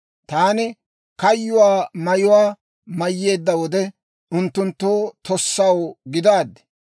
Taani kayyuwaa mayuwaa mayyeedda wode, unttunttoo tossaw gidaaddi.